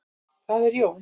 Það er Jón.